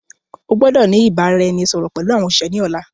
O gbọ́dọ̀ ni ìbáraẹnisọọ̀rọ̀ pẹlu àwọn òṣìṣẹ́ ni ọ̀la.